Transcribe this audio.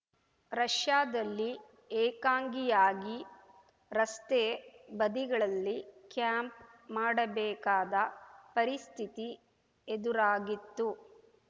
ರಷ್ಯಾದಲ್ಲಿ ಏಕಾಂಗಿಯಾಗಿ ರಸ್ತೆ ಬದಿಗಳಲ್ಲಿ ಕ್ಯಾಂಪ್‌ ಮಾಡಬೇಕಾದ ಪರಿಸ್ಥಿತಿ ಎದುರಾಗಿತ್ತು